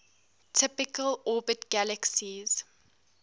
typically orbit galaxies